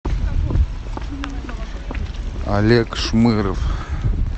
олег шмыров